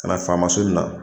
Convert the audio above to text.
Ka na faama so in na.